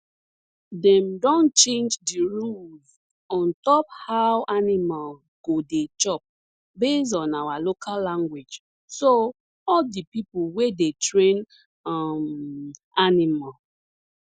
dem don change di rules on top how animal go dey chop based on our local language so all di pipo wey dey train um animal